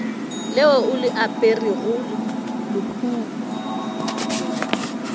leo o le aperego lehono